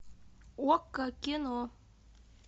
окко кино